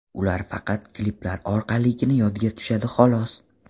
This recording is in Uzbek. Ular faqat kliplar orqaligina yodga tushadi, xolos.